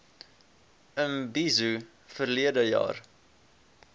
imbizo verlede jaar